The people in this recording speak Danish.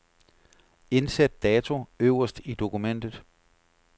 Indsæt dato øverst i dokumentet.